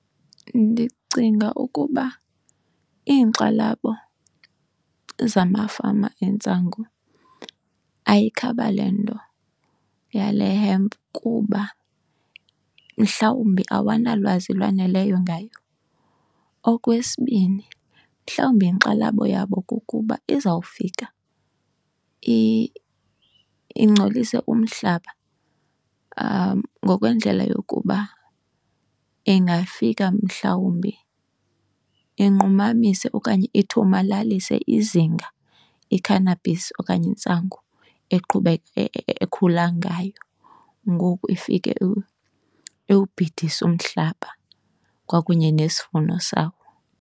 Ndicinga ukuba iinkxalabo zamafama entsangu ayikhaba le nto yale hemp kuba mhlawumbi awanalwazi lwaneleyo ngayo. Okwesibini, mhlawumbi inkxalabo yabo kukuba izawufika ingcolise umhlaba ngokwendlela yokuba ingafika mhlawumbi inqumamise okanye ithomalalise izinga i-cannabis okanye intsangu ekhula ngayo, ngoku ifike iwubhidise umhlaba kwakunye nesivuno sawo.